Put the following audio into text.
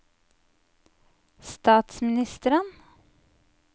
statsministeren